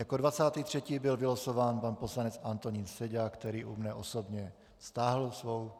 Jako 23. byl vylosován pan poslanec Antonín Seďa, který u mne osobně stáhl svou